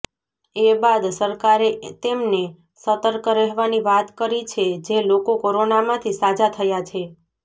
એ બાદ સરકારે તેમને સતર્ક રહેવાની વાત કરી છે જે લોકો કોરોનામાંથી સાજા થયા છે